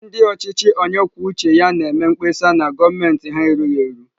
Ndị ọchịchị onye kwuo uche ya na-eme mkpesa na gọọmentị ha erughị eru.